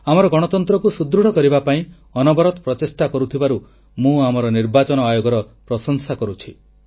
ଆମର ଗଣତନ୍ତ୍ରକୁ ସୁଦୃଢ଼ କରିବା ପାଇଁ ଅନବରତ ପ୍ରଚେଷ୍ଟା କରୁଥିବାରୁ ମୁଁ ଆମ ନିର୍ବାଚନ ଆୟୋଗର ପ୍ରଶଂସା କରୁଛି